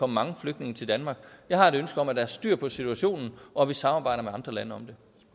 mange flygtninge til danmark jeg har et ønske om at der er styr på situationen og at vi samarbejder med andre lande